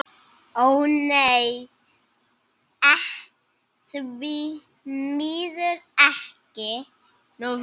Ó nei, því miður ekki.